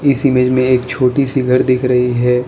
इस इमेज में एक छोटी सी घर दिख रही है।